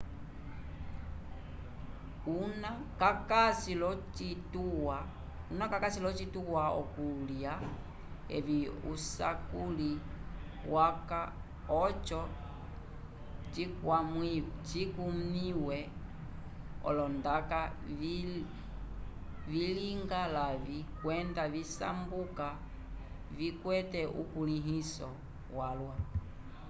una kakasi l'ocituwa c'okulya evi usakuli waca oco cikwamĩwe olondaka vilinga lavĩ kwenda visambuka vikwete ukulĩhiso walwa